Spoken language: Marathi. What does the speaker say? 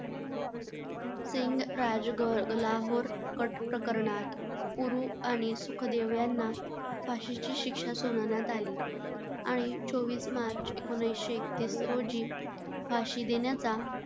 सिंग, राजगुरू लाहोर कट प्रकरणात आणि सुखदेव यांना फाशीची शिक्षा सुनावण्यात आली आणि चोवीस मार्च एकोणीसशे एकतीस रोजी फाशी देण्याचा,